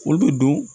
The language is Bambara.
Olu bɛ don